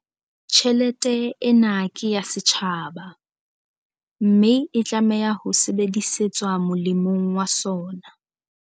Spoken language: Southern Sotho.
Tjhelete ena ke ya setjhaba, mme e tlameha ho sebedisetswa molemong wa sona.